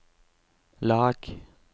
lag